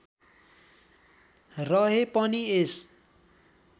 रहे पनि यस